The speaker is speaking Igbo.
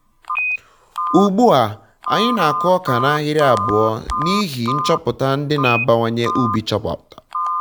ugbu a ugbu a anyị na-akụ ọka n'ahịrị abụọ n'ihi nchọpụta ndị na abawanye ubi chọpụtara